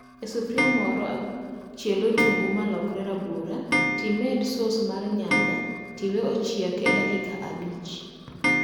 E sufria moro, chiel otungu malokre rabuora timed sos mar nyanya tiwe ochiek e dakika abich